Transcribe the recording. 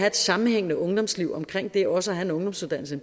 et sammenhængende ungdomsliv omkring det også at have en ungdomsuddannelse